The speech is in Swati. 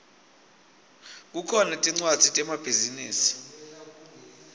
kukhona tmcwadzi temabhizinisi